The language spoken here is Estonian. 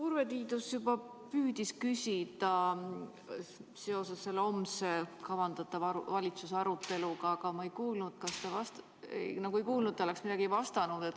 Urve Tiidus juba püüdis küsida seoses selle homse kavandatava valitsuse aruteluga, aga ma nagu ei kuulnud, et te oleks midagi vastanud.